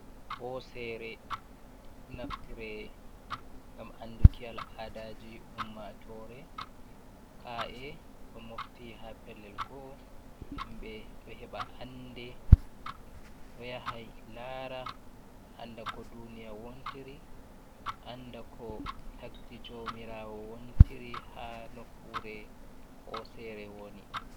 Hosere naftire gam anɗuki al aɗaji ummatore. Ka’e ɗo noftire ha pellel go'o. Himbe ɗo heɓa anɗe ɗo yahai lara anɗa ko ɗuniya wontiri. anɗa ko tagɗi jomirawo wontiri. ha nokkure hosere woni.